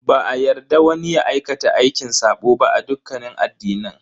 Ba a yarda wani ya aikata aikin sabo ba a dukkanin addinan.